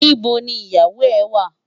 Nibó ni iyáwó è wá?